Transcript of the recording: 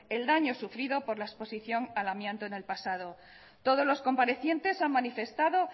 el daño sufrido por la exposición al amianto en el pasado todos los comparecientes han manifestado